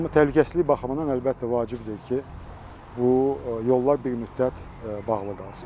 Amma təhlükəsizlik baxımından əlbəttə vacibdir ki, bu yollar bir müddət bağlı qalsın.